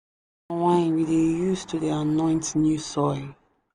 palm wine we dey use to dey anoint new soil.